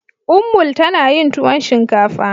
Ummul tana yin tuwon shinkafa.